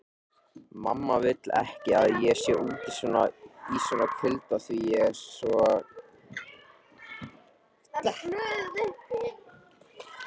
Mamma vill ekki að ég sé úti í svona kulda því ég er svo kvefsækinn